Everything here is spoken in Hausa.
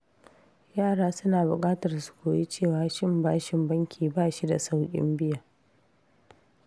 Yara suna bukatar su koyi cewa cin bashin banki ba shi da saukin biya.